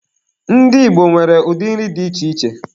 Ndị Igbo nwere ụdị nri dị iche iche.